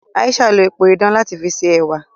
Aisha n lo epo idán lati fi ṣe ẹwà.